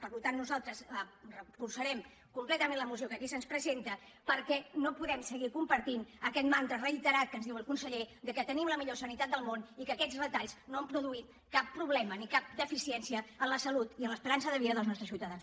per tant nosaltres recolzarem completament la moció que aquí se’ns presenta perquè no podem seguir compartint aquest mantra reiterat que ens diu el conseller que tenim la millor sanitat del món i que aquests retalls no han produït cap problema ni cap deficiència en la salut i en l’esperança de vida dels nostres ciutadans